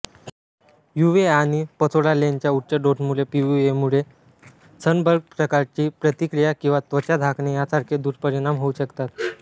UVA आणि पसोरालेनच्या उच्च डोसमुळे पीयूव्हीएमुळे सनबर्नप्रकारची प्रतिक्रिया किंवा त्वचा झाकणे यासारखे दुष्परिणाम होऊ शकतात